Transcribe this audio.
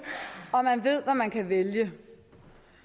og man ved hvad man kan vælge et